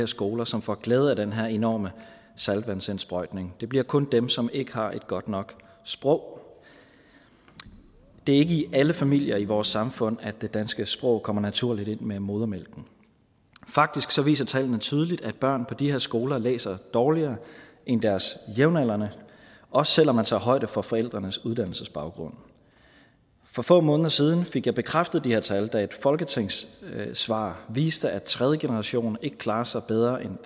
skoler som får glæde af den her enorme saltvandsindsprøjtning det bliver kun dem som ikke har et godt nok sprog det er ikke i alle familier i vores samfund at det danske sprog kommer naturligt ind med modermælken faktisk viser tallene tydeligt at børn på de her skoler læser dårligere end deres jævnaldrende også selv om man tager højde for forældrenes uddannelsesbaggrund for få måneder siden fik jeg bekræftet de her tal da et folketingssvar viste at tredje generation ikke klarer sig bedre end